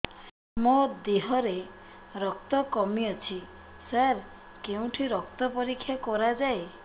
ମୋ ଦିହରେ ରକ୍ତ କମି ଅଛି ସାର କେଉଁଠି ରକ୍ତ ପରୀକ୍ଷା କରାଯାଏ